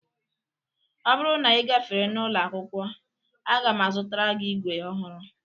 Ọ bụrụ na ị gafere n'ụlọ akwụkwọ, a ga m azụtara gị ígwè ọhụrụ